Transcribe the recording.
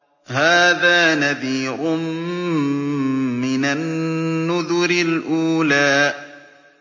هَٰذَا نَذِيرٌ مِّنَ النُّذُرِ الْأُولَىٰ